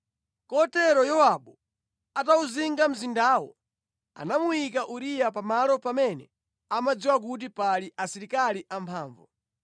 Kotero Yowabu atawuzinga mzindawo, anamuyika Uriya pamalo pamene amadziwa kuti pali asilikali amphamvu.